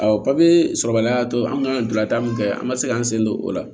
papiye sɔrɔbaliya tɔ an ka donna taa min fɛ an ma se k'an sen don o la